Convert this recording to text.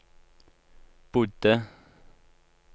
bodde